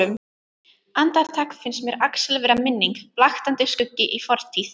Andartak finnst mér Axel vera minning, blaktandi skuggi í fortíð.